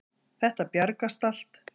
Þetta bjargast allt.